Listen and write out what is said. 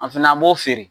An fana an b'o feere